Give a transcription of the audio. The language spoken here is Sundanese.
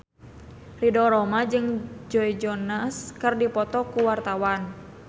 Ridho Roma jeung Joe Jonas keur dipoto ku wartawan